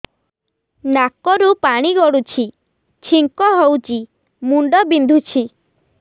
ନାକରୁ ପାଣି ଗଡୁଛି ଛିଙ୍କ ହଉଚି ମୁଣ୍ଡ ବିନ୍ଧୁଛି